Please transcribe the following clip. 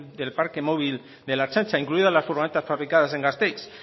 del parque móvil de la ertzaintza incluidas las furgonetas fabricadas en gasteiz